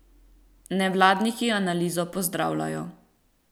Nevladniki analizo pozdravljajo.